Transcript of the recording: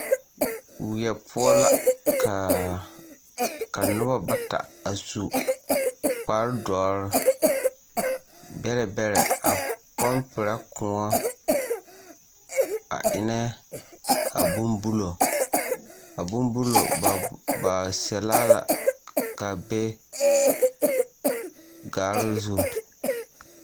Weɛ poɔ kaa ka noba bata a su kparedɔre bɛrɛ bɛrɛ a pɔmperɛ koɔ a eŋnɛ a bonbulo a bonbuluu ba ba sɛlle la ka a be gare zu.